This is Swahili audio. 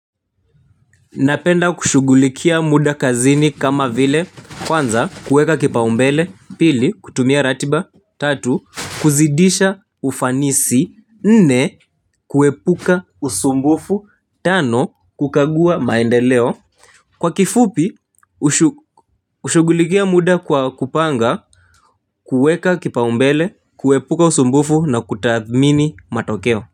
Napenda kushughulikia muda kazini kama vile kwanza kuweka kipaumbele pili kutumia ratiba tatu kuzidisha ufanisi nne kuepuka usumbufu tano kukagua maendeleo kwa kifupi hushughulikia muda kwa kupanga kuweka kipaumbele kuepuka usumbufu na kutathmini matokeo.